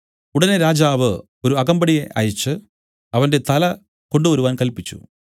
ഉടനെ രാജാവ് ഒരു അകമ്പടിയെ അയച്ച് അവന്റെ തല കൊണ്ടുവരുവാൻ കല്പിച്ചു